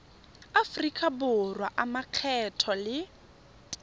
aforika borwa a makgetho le